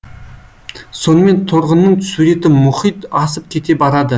сонымен торғынның суреті мұхит асып кете барады